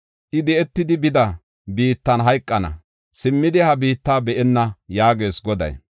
I di7etidi bida biittan hayqana; simmidi ha biitta be7enna” yaagees Goday.